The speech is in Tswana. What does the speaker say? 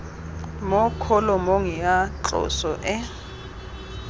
mo kholomong ya tloso e